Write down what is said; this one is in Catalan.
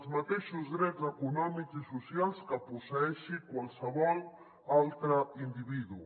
els mateixos drets econòmics i socials que posseeixi qualsevol altre individu